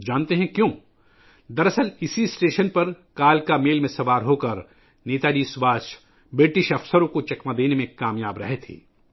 پتہ ہے کیوں؟ دراصل اس اسٹیشن پر نیتا جی سبھاش کالکا میل میں سوار ہو کر انگریز افسروں کو چکمہ دینے میں کامیاب ہو گئے تھے